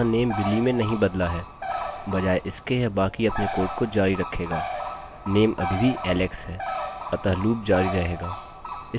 अतः लूपloop जारी रहेगा इस मामले में यह तब तक जाएगा जब तक यह 10 तक न पहुँच जाए किन्तु 9 उपयोगकर्ता के लिए एकोecho होगा